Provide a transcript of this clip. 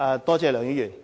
多謝梁議員的提問。